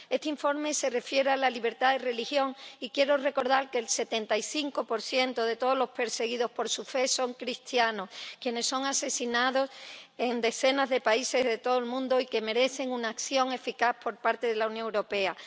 Este informe se refiere a la libertad de religión y quiero recordar que el 75 de todos los perseguidos por su fe son cristianos, quienes son asesinados en decenas de países de todo el mundo y que merecen una acción eficaz por parte de la Unión Europea.